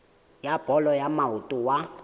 wa bolo ya maoto wa